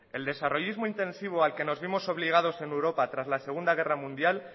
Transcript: el desarrollismo intensivo al que nos vimos obligados en europa tras la segundo guerra mundial